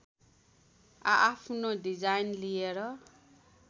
आआफ्नो डिजाइन लिएर